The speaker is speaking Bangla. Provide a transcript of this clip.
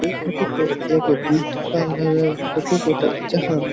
এই ফোটো -টা এক বিউটি পার্লার -এর ফটো বটে যাহা।